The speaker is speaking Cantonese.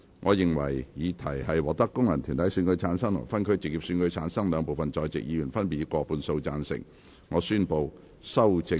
我認為議題獲得經由功能團體選舉產生及分區直接選舉產生的兩部分在席議員，分別以過半數贊成。